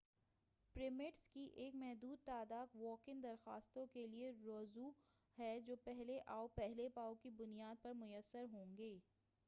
permits کی ایک محدود تعداد واک اِن درخواستوں کے لئے رزرو ہے جو پہلے آؤ پہلے پاؤ کی بنیاد پر میسر ہوں گی